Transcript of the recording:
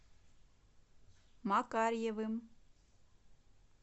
макарьевым